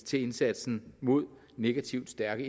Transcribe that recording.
til indsatsen mod negativt stærke